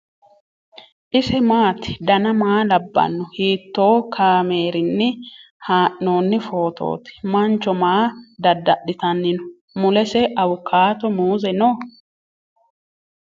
ise maati ? dana maa labbanno ? hiitoo kaameerinni haa'noonni footooti ? mancho maa dada'litanni no ? mulese awukaato muuze no ?